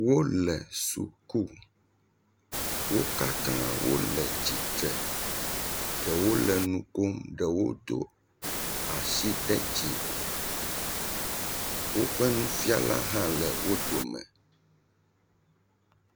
Wole suku, wo katãa wole tsitre, ɖewo le nu kom, ɖewo do asi ɖe dzi, woƒe nufiala hã le wo dome.